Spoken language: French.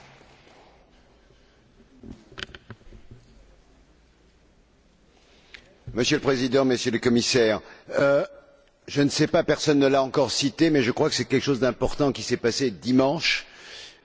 Monsieur le Président, Monsieur le Commissaire, personne ne l'a encore évoqué mais je crois que quelque chose d'important s'est passé dimanche, puisque la Banque mondiale a remis son rapport en annonçant